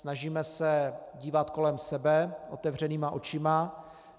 Snažíme se dívat kolem sebe otevřenýma očima.